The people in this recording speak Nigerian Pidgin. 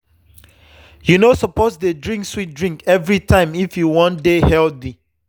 you no suppose to dey drink sweet drink every time if you wan dey healthy.